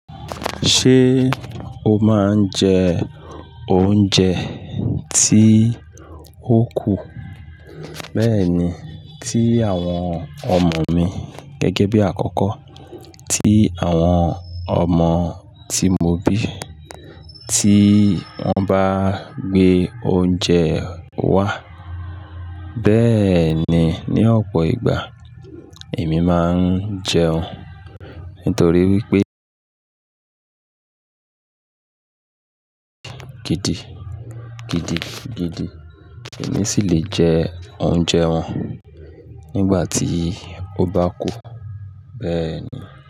Ṣé o máa ń jẹ oúnjẹ tí ó kù? Bẹ́ẹ̀ni, tí àwọn ọmọ mi gẹ́gẹ́ bí àkọ́kọ́, tí àwọn ọmọ tí mo bí, tí wọ́n bá gbé oúnjẹ wá. Bẹ́ẹ̀ ni, ní ọ̀pọ̀ ìgbà èmi máa ń jẹun. Nítorí wípé gidi gidi gidi, èmi sì lè jẹ́ oúnjẹ wọn nígbà tí ó bá kù. Bẹ́ẹ̀ ni.